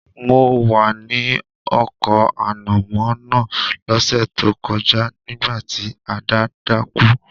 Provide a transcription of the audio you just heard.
Mo wa ni oko ànàmó náà lọ́sẹ̀ to kojá nígbàtí Ada dákú